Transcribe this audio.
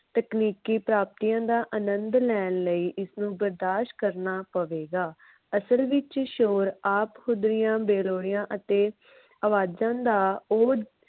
ਤਕਨੀਕੀ ਪ੍ਰਾਪਤੀਆਂ ਦਾ ਆਨੰਦ ਲੈਣ ਲਈ ਇਸਨੂੰ ਬਰਦਾਸ਼ ਕਰਨਾ ਪਵੇਗਾ। ਅਸਲ ਵਿਚ ਸ਼ੋਰ ਆਪ ਹੁਦਰੀਆਂ ਬੇਲੋੜੀਆਂ ਅਤੇ ਆਵਾਜਾਂ ਦਾ ਉਹ